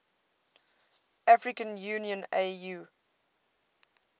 african union au